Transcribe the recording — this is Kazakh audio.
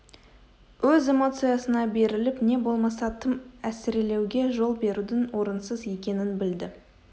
өз эмоциясына беріліп не болмаса тым әсірелеуге жол берудің орынсыз екенін білді